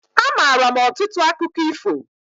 Amaara m ọtụtụ akụkọ ifo.